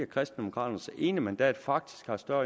kristendemokraternes ene mandat faktisk har større